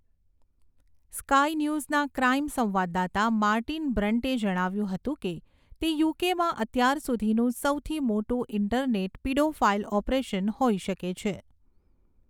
Sky ન્યૂઝના crime સંવાદદાતા Martin બ્રન્ટે જણાવ્યુંં હતું કે તે યુકેમાં અત્યાર સુધીનું સૌથી મોટું ઈન્ટરનેટ પીડોફાઈલ ઓપરેશન હોઈ શકે છે.